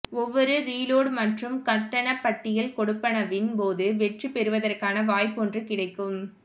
ஒவ்வொரு ரீலோட் மற்றும் கட்டணப்பட்டியல் கொடுப்பனவின் போதும் வெற்றி பெறுவதற்கான வாய்ப்பொன்று கிடைக்கும்